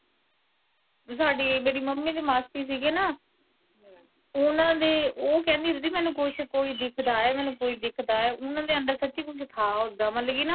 ਸਾਡੀ ਮੇਰੀ ਮੰਮੀ ਦੀ ਮਾਸੀ ਸੀਗੇ ਨਾ, ਓਹਨਾਂ ਦੇ ਓਹ ਕਹਿੰਦੇ ਹੁੰਦੇ ਸੀ ਕਿ ਮੈਨੂੰ ਕੁੱਸ, ਕੋਈ ਦਿੱਖਦਾ ਆ, ਕੋਈ ਦਿੱਖਦਾ ਆ, ਓਨਾਂ ਦੇ ਅੰਦਰ ਸੱਚੀ ਕੁੱਝ ਥਾ ਓਦਾ ਮਤਲਬ ਕੀ ਨਾ।